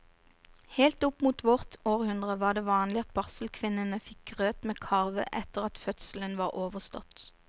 Helt opp mot vårt århundre var det vanlig at barselkvinnene fikk grøt med karve etter at fødselen var overstått.